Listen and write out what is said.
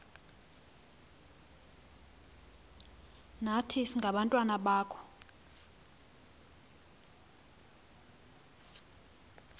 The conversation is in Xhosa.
nathi singabantwana bakho